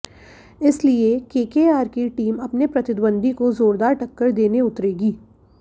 इसलिए केकेआर की टीम अपने प्रतिद्वंदी को जोरदार टक्कर देने उतरेगी